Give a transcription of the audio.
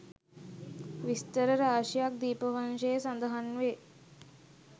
විස්තර රාශියක් දීපවංසයේ සඳහන් වේ